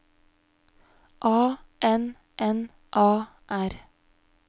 A N N A R